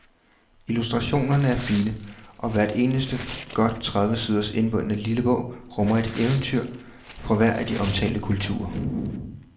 Illustrationerne er fine, og hvert eneste godt tredive siders indbundne lille bog rummer et eventyr fra hver af de omtalte kulturer.